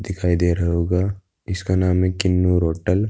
दिखाई दे रहा होगा। इसका नाम है किन्नूर होटल ।